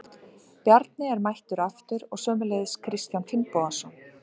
Bjarni er mættur aftur og sömuleiðis Kristján Finnbogason.